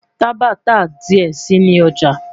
Taba ta diẹ sii ni ọja